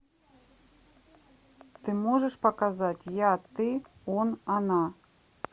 ты можешь показать я ты он она